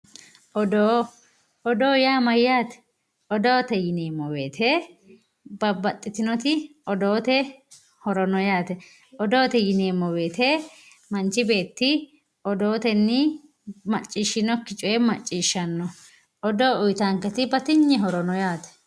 Odoo odoo yaa mayyaate odoote yineemmowoyite babbaxxitinoti odoote horo no yaate odoote yineemmowoyite manchi beetti odootenni maccishshinokkire macciishshanno odoo batinye horo uyitanonke yaate.